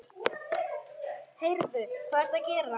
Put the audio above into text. Heyrðu. hvað ertu að gera?